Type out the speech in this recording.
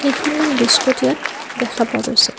কেইখনমান বিস্কুট ইয়াত দেখা পোৱা গৈছে।